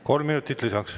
Kolm minutit lisaks.